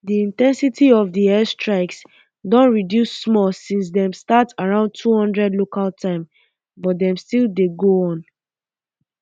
di um in ten sity of di air strikes don reduce small since dem start around two hundred local time but dem still dey go on